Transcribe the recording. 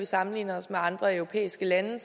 sammenlignet med andre europæiske lande